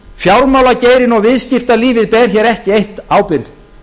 fjármálageirinn og viðskiptalífið ber hér ekki eitt ábyrgð